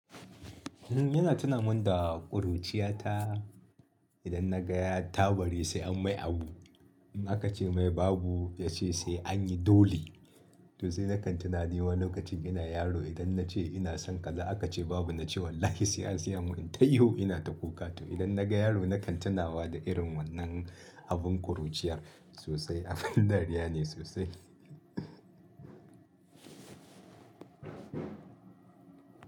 Yana tunamin da ƙuruciyata idan na ga ya tabari sai an mai abu. In aka ce mai babu, ya ce sai an yi dole. To sai nakan tuna ni wa lokacin ina yaro idan na ce ina son kaza aka ce babu na ce wallahi sai an siya mun, inta ihu ina ta kuka. To idan na ga yaro nakan tunawa da irin wannan abin ƙuruciyar sosai, abin dariya ne sosai.